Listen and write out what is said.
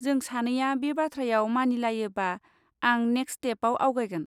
जों सानैया बे बाथ्रायाव मानिलायोबा, आं नेक्स्ट स्टेपआव आवगायगोन।